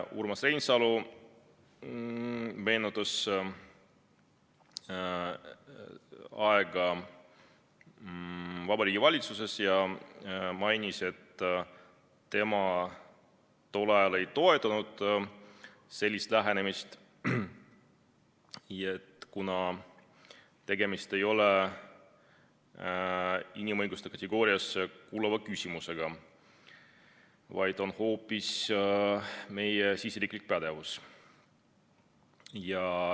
Urmas Reinsalu meenutas aega Vabariigi Valitsuses ja mainis, et tema tol ajal ei toetanud sellist lähenemist, kuna tegemist ei ole inimõiguste kategooriasse kuuluva küsimusega, vaid on hoopis meie siseriiklik pädevus.